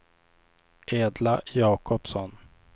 Edla Jakobsson